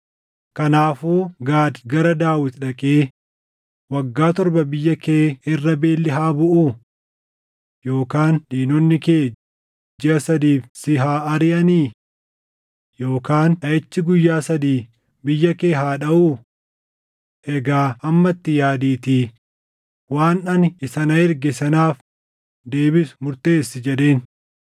Kanaafuu Gaad gara Daawit dhaqee, “Waggaa torba biyya kee irra beelli haa buʼuu? Yookaan diinonni kee jiʼa sadiif si haa ariʼanii? Yookaan dhaʼichi guyyaa sadii biyya kee haa dhaʼuu? Egaa amma itti yaadiitii waan ani isa na erge sanaaf deebisu murteessi” jedheen.